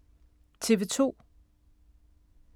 TV 2